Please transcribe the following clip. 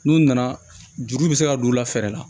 N'u nana juru bɛ se ka don u la fɛɛrɛ la